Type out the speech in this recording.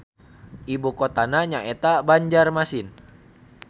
Ibu kotana nyaeta Banjarmasin.